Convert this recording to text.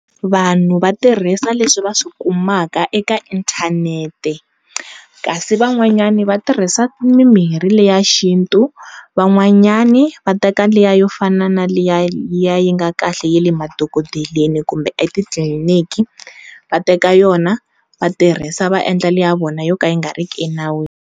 Vanhu va tirhisa leswi va swi kumaka eka inthanete kasi van'wanyani va tirhisa mimirhi leya xintu van'wanyana va teka liya yo fana na liya yi nga kahle ya le madokodeleni kumbe etitliliniki va teka yona va tirhisa vaendla le ya vona yo ka yi nga riki enawini.